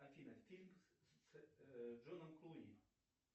афина фильм с джоном клуни